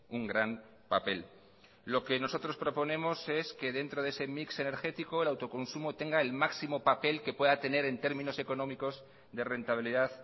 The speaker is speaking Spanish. un gran papel lo que nosotros proponemos es que dentro de ese mix energético el autoconsumo tenga el máximo papel que pueda tener en términos económicos de rentabilidad